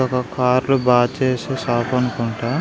ఇదొక కార్ లు బాగు చేసే షాప్ అనుకుంటా.